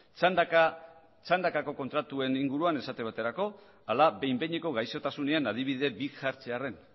txandakako kontratuen inguruan esate baterako ala behin behineko gaixotasunean adibide bi jartzearren